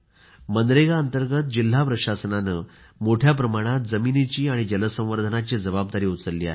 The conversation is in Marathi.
मनरेगा अंतर्गत जिल्हा प्रशासनाने मोठ्या प्रमाणात जमिनीची आणि जलसंवर्धनची जबाबदारी उचलली आहे